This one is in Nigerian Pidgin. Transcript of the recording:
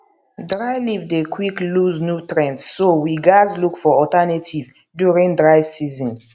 dry leave dey quick lose nutrients so we gaz look for alternatives during dry season